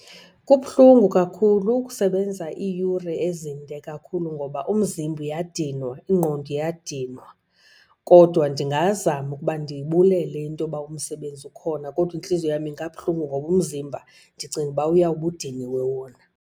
Kubuhlungu kakhulu ukusebenza iiyure ezinde kakhulu ngoba umzimba uyadinwa, ingqondo iyadinwa. Kodwa ndingazama ukuba ndibulele intoba umsebenzi khona, kodwa intliziyo yam ingabuhlungu ngoba umzimba ndicinga uba uyawube udiniwe wona.